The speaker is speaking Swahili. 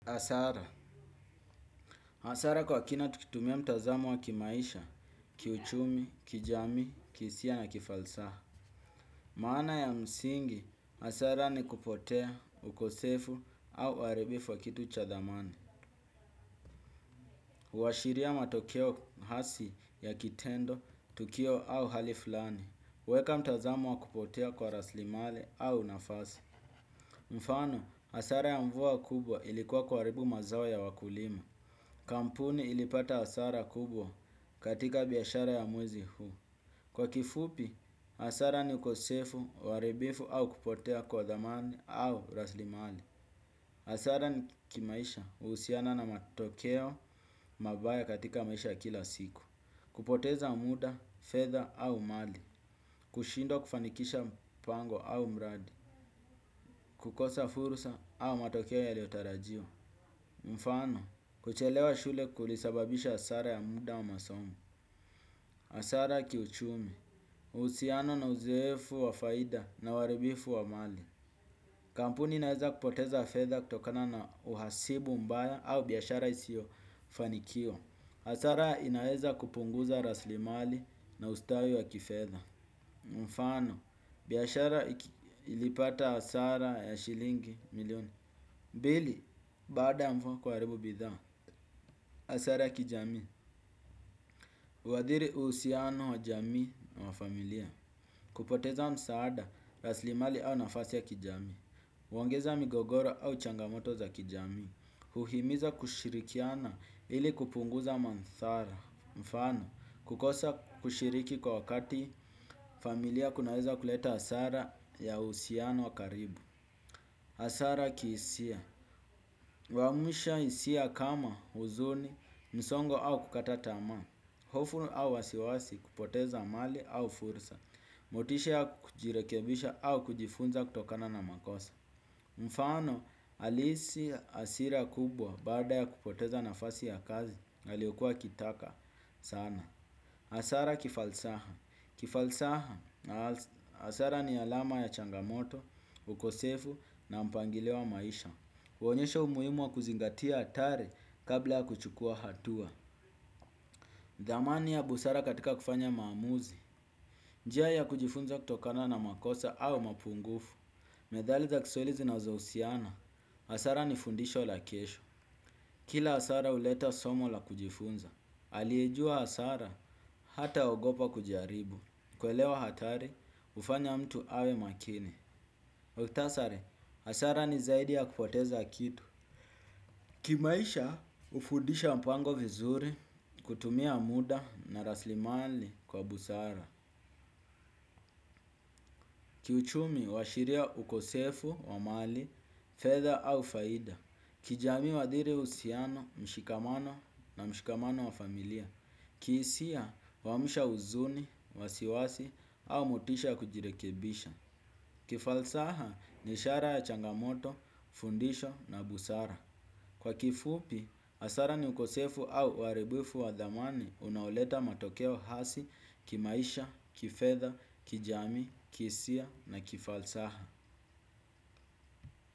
Hasara. Hasara kwa kina tukitumia mtazamo wa kimaisha, kiuchumi, kijamii, kihisia na kifalsaha. Maana ya msingi, asara ni kupotea, ukosefu au uaribifu wa kitu cha dhamani. Uwashiria matokeo hasi ya kitendo, tukio au hali fulani. Weka mtazamo wa kupotea kwa raslimali au nafasi. Mifano, asara ya mvua kubwa ilikuwa kuaribu mazao ya wakulima. Kampuni ilipata hasara kubwa katika biashara ya mwezi huu. Kwa kifupi, hasara ni ukosefu, uaribifu au kupotea kwa dhamani au raslimali. Asara ni kimaisha usiana na matokeo mabaya katika maisha ya kila siku. Kupoteza muda, fedha au mali. Kushindwa kufanikisha mpango au mradi. Kukosa furusa au matokeo yaliotarajiwa. Mfano, kuchelewa shule kulisababisha asara ya muda wa masomo. Asara kiuchumi, usiano na uzefu wa faida na waribifu wa mali. Kampuni inaeza kupoteza fedha kutokana na uhasibu mbaya au biashara isio fanikiwa. Asara inaeza kupunguza rasli mali na ustawi wa kifedha. Mfano, biashara ilipata hasara ya shilingi milioni. Pili, baada ya mvua kuaribu bidhaa. Asara kijami wadhiri uhusiano wa jamii na wa familia. Kupoteza msaada, raslimali au nafasi ya kijamii huongeza migogoro au changamoto za kijamii. Huhimiza kushirikiana ili kupunguza manthara. Mfano, kukosa kushiriki kwa wakati familia kunaweza kuleta asara ya uhusiano wa karibu asara kihisia uamusha hisia kama uzuni, msongo au kukata tamaa. Hofu au wasiwasi kupoteza amali au fursa, motisha ya kujirekebisha au kujifunza kutokana na makosa. Mfano, aliisi asira kubwa baada ya kupoteza nafasi ya kazi, aliokuwa akitaka sana. Asara kifalsaha. Kifalsaha, asara ni alama ya changamoto, ukosefu na mpangilio wa maisha. Uonyesha umuimu wa kuzingatia atari kabla ya kuchukua hatua. Dhamani ya busara katika kufanya maamuzi, njia ya kujifunza kutokana na makosa au mapungufu, medhali za kiswaili zinazo usiana, hasara ni fundisho la kesho. Kila asara uleta somo la kujifunza, aliejua asara hata ogopa kujaribu, kuelewa hatari hufanya mtu awe makini. Waktasari, hasara ni zaidi ya kupoteza kitu. Kimaisha, ufundisha mpango vizuri, kutumia muda na raslimali kwa busara. Kiuchumi, huashiria ukosefu wa mali, fedha au faida. Kijamii huadhiri usiano, mshikamano na mshikamano wa familia. Kiisia, huamusha uzuni, wasiwasi, au motisha ya kujirekebisha. Kifalsaha ni ishara ya changamoto, fundisho na busara. Kwa kifupi, hasara ni ukosefu au uaribifu wa dhamani unaoleta matokeo hasi, kimaisha, kifedha, kijamii, kiisia na kifalsaha.